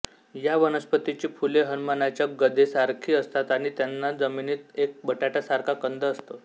या वनस्पतीची फुले हनुमानाच्या गदेसारखी असतातआणि त्यांना जमीनीत एक बटाट्यासारखा कंद असतो